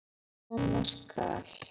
Það sem koma skal